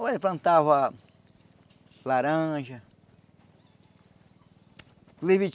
Olha, plantava... Laranja. Inclusive